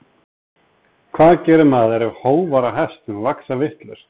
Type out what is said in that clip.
hvað gerir maður ef hófar á hestum vaxa vitlaust